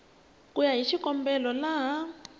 ku ya hi xikombelo laha